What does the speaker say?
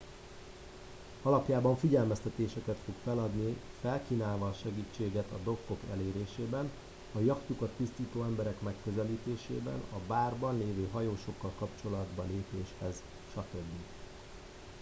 alapjában figyelmeztetéseket fog feladni felkínálva segítségét a dokkok elérésében a yachtjukat tisztító emberek megközelítésében a bárban lévő hajósokkal kapcsolatba lépéshez stb